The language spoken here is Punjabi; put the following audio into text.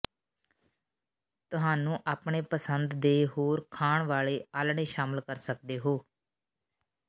ਤੁਹਾਨੂੰ ਆਪਣੇ ਪਸੰਦ ਦੇ ਹੋਰ ਖਾਣ ਵਾਲੇ ਆਲ੍ਹਣੇ ਸ਼ਾਮਿਲ ਕਰ ਸਕਦੇ ਹੋ